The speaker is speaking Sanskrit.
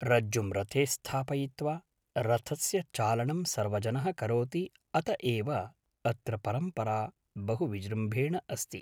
रज्जुं रथे स्थापयित्वा रथस्य चालनं सर्वजनः करोति अत एव अत्र परम्परा बहु विजृम्भणेन अस्ति